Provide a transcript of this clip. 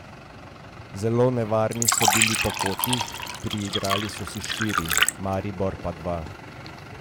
Zelo nevarni so bili po kotih, priigrali so si štiri, Maribor pa dva.